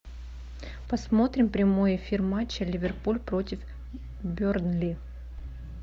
посмотрим прямой эфир матча ливерпуль против бернли